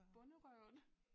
Bonderøven